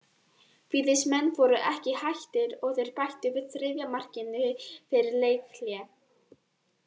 Víðismenn voru ekki hættir og þeir bættu við þriðja markinu fyrir leikhlé.